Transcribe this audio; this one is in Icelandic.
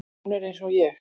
Hún er eins og ég.